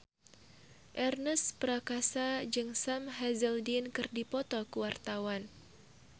Ernest Prakasa jeung Sam Hazeldine keur dipoto ku wartawan